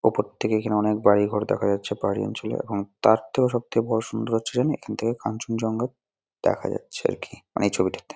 উপর থাকে অনেক বাড়ি ঘর দেখা যাচ্ছে পাহাড়ি অঞ্চলে এবং তার থেকেও সবচেয়ে বড়ো সুন্দর হচ্ছে জান এখান থেকে কাঞ্চনজঙ্ঘা দেখা যাচ্ছে আর কি। মানে এই ছবিটাতে ।